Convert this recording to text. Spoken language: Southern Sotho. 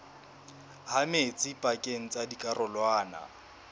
ha metsi pakeng tsa dikarolwana